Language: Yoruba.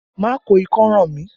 Má ko ikọ́ ràn mí!